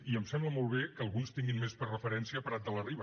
i em sembla molt bé que alguns tinguin més per referència prat de la riba